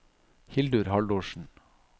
Hildur Haldorsen